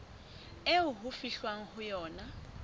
eo ho fihlwang ho yona